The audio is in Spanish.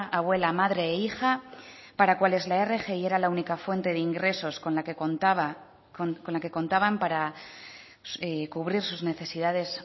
abuela madre e hija para cuales la rgi era la única fuente de ingresos con la que contaban para cubrir sus necesidades